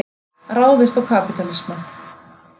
Ráðist á kapítalismann.